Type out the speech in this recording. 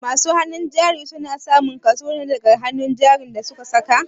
Masu hannun jari su na samun kaso na daga hannun jarin da su ka saya.